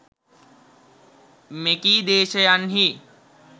මෙකී දේශයන්හි